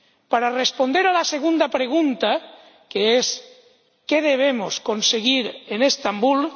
Para responder a la segunda pregunta —¿qué debemos conseguir en Estambul?—,